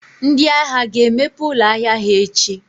ndị ahịa ga-emepe ụlọ ahịa ha echi?